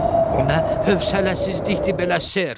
O nə hövsələsizlikdir belə, ser.